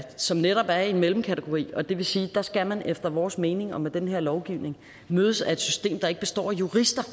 som netop er i en mellemkategori og det vil sige at der skal man efter vores mening og med den her lovgivning mødes af et system der ikke består af jurister